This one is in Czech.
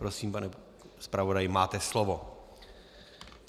Prosím, pane zpravodaji, máte slovo.